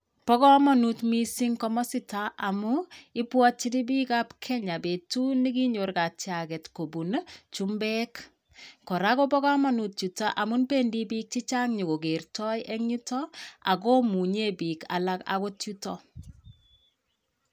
Bo komonut mising komosita amu ipwotchin biik ap Kenya betut nekinyor katyaget kopun chumbeek. Kora kobo komonut yutok amun pendi biik chechang yo ko kertoi en yuto ak komunye biik alak akot yuto.